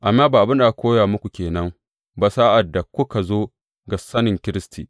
Amma ba abin da aka koya muku ke nan ba sa’ad da kuka zo ga sanin Kiristi.